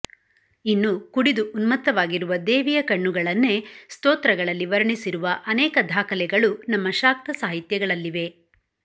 ಇನ್ನು ಕುಡಿದು ಉನ್ಮತ್ತವಾಗಿರುವ ದೇವಿಯ ಕಣ್ಣುಗಳನ್ನೇ ಸ್ತೋತ್ರಗಳಲ್ಲಿ ವರ್ಣಿಸಿರುವ ಅನೇಕ ದಾಖಲೆಗಳು ನಮ್ಮ ಶಾಕ್ತ ಸಾಹಿತ್ಯಗಳಲ್ಲಿವೆ